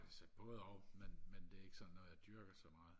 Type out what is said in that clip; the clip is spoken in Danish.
altså både og men men det er ikke noget jeg sådan dyrker så meget